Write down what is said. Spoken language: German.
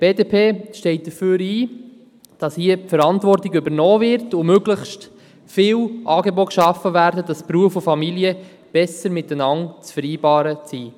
Die BDP steht dafür ein, dass diese Verantwortung übernommen wird und möglichst viele Angebote geschaffen werden, damit Beruf und Familie besser mit einander zu vereinbaren sind.